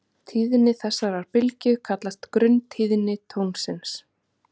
Tíðni þessarar bylgju kallast grunntíðni tónsins.